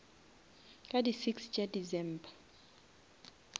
ka di six tša december